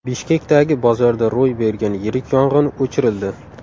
Bishkekdagi bozorda ro‘y bergan yirik yong‘in o‘chirildi.